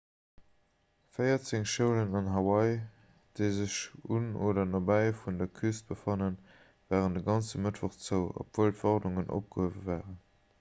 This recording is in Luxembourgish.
véierzéng schoulen an hawaii déi sech un oder nobäi vun der küst befannen waren de ganze mëttwoch zou obwuel d'warnungen opgehuewe waren